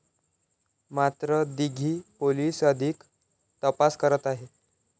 मात्र दिघी पोलिस अधिक तपास करत आहेत.